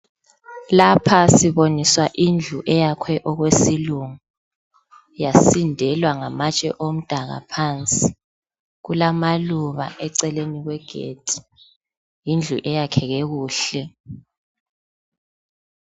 Lapha siboniswa indlu eyakhwe okwesilungu yasindelwa ngamatshe omdaka phansi, kulamaluba eceleni kwegedi, yindlu eyakheke kuhle.